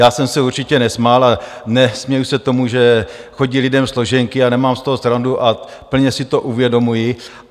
Já jsem se určitě nesmál a nesměji se tomu, že chodí lidem složenky, a nemám z toho srandu a plně si to uvědomuji.